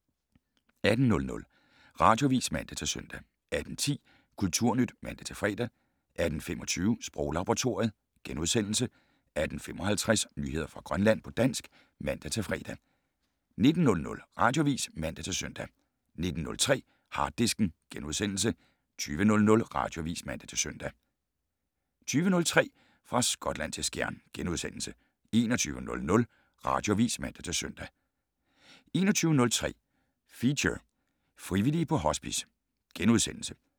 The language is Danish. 18:00: Radioavis (man-søn) 18:10: Kulturnyt (man-fre) 18:25: Sproglaboratoriet * 18:55: Nyheder fra Grønland på dansk (man-fre) 19:00: Radioavis (man-søn) 19:03: Harddisken * 20:00: Radioavis (man-søn) 20:03: Fra Skotland til Skjern * 21:00: Radioavis (man-søn) 21:03: Feature: Frivillige på Hospice *